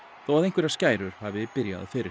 þó að einhverjar skærur hafi byrjað fyrr